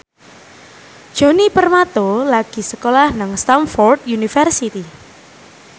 Djoni Permato lagi sekolah nang Stamford University